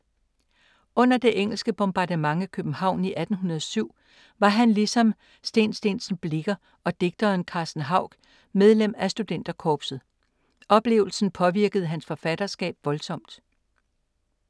Under det engelske bombardement af København i 1807 var han ligesom St. St. Blicher og digteren Carsten Hauch medlem af studenterkorpset. Oplevelsen påvirkede hans forfatterskab voldsomt.